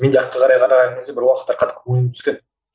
мен артқа қарай қараған кезде бір уакытта қатты ойым түскен